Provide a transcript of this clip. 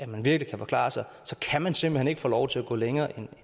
man virkelig kan forklare sig så kan man simpelt hen ikke få lov til at gå længere